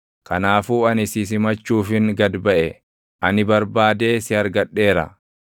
Kanaafuu ani si simachuufin gad baʼe; ani barbaadee si argadheera!